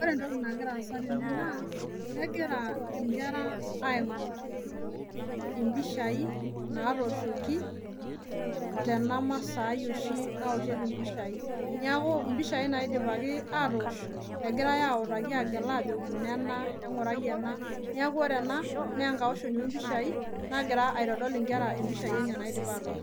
Ore entoki nagira aaza tene naa, kegirae inkera aigorr ipishai naatoshoki tena Maasai ashi naoshieki impishaii, neeku impishaai naidipaki aatoosh egira autaki agelaki ajoki nena en'gurai ena , neeku kore ena naa enkaoshoni oopishaii nagira aitodol inkera ipishai enye naaidipa aatoosho.